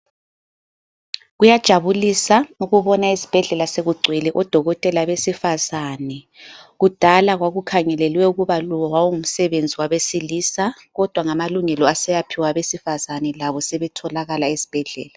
Kuyajabulisa ukubona esibhedlela sokugcwele odokotela besifazane. Kudala kwakukhangelelwe ukuba lo wawungumsebenzi wabesilisa kodwa ngamalungelo esewaphiwa abesifazana labo sebetholakala esibhedlela.